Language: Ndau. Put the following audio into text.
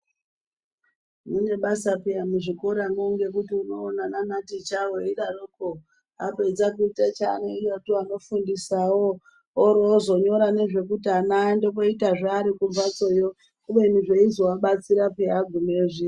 Mune basa pheya muzvikoramwo ngekuti unoona, nana ticha weidaroko apedza kuita chaanoita ndiye anofundisawo oroozonyorawo nezvekuti ana aende kooita ari kumphatsoyo kubeni zveizoabatsira pheya agumeyo zviya.